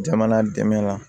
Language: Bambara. Jamana dɛmɛ la